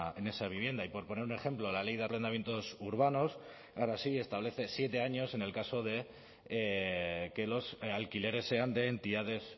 en esa vivienda y por poner un ejemplo la ley de arrendamientos urbanos ahora sí establece siete años en el caso de que los alquileres sean de entidades